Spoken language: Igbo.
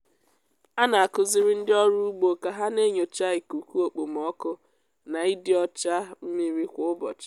a na-akụziri ndị ọrụ ugbo ka ha na-enyocha ikuku okpomọkụ na ịdị ọcha mmiri kwa ụbọchị.